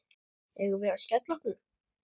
Eigum við að skella okkur?